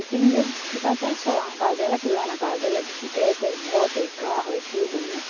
Eu tenho medo de ficar até só lá na casa dela, que lá na casa dela é bicicleta, é moto, é carro, é tudo, né?